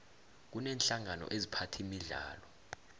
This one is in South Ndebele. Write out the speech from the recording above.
kuneenhlangano eziphatha imidlalo